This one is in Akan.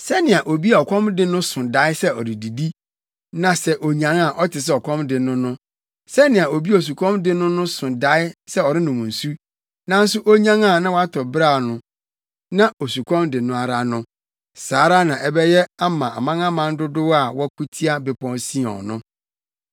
Sɛnea obi a ɔkɔm de no so dae sɛ ɔredidi, na sɛ onyan a ɔte sɛ ɔkɔm de no no; sɛnea obi a osukɔm de no so dae sɛ ɔrenom nsu, nanso onyan a na watɔ beraw, na osukɔm de no ara no. Saa ara na ɛbɛyɛ ama amanaman dodow a wɔko tia Bepɔw Sion no.